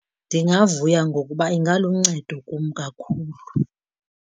Ndingavuya ngokuba ingaluncedo kum kakhulu.